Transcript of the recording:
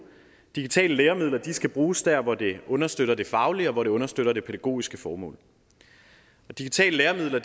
digitale læremidler skal bruges dér hvor de understøtter det faglige og hvor de understøtter det pædagogiske formål digitale læremidler